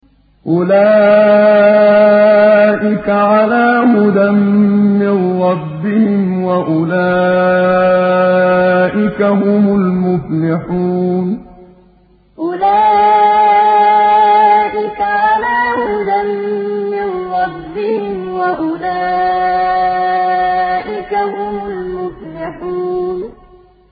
أُولَٰئِكَ عَلَىٰ هُدًى مِّن رَّبِّهِمْ ۖ وَأُولَٰئِكَ هُمُ الْمُفْلِحُونَ أُولَٰئِكَ عَلَىٰ هُدًى مِّن رَّبِّهِمْ ۖ وَأُولَٰئِكَ هُمُ الْمُفْلِحُونَ